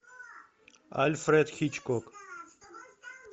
альфред хичкок